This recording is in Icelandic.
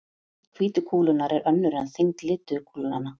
Þyngd hvítu kúlunnar er önnur en þyngd lituðu kúlnanna.